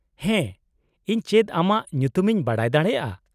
-ᱦᱮᱸ, ᱤᱧ ᱪᱮᱫ ᱟᱢᱟᱜ ᱧᱩᱛᱩᱢ ᱤᱧ ᱵᱟᱰᱟᱭ ᱫᱟᱲᱮᱭᱟᱜᱼᱟ ?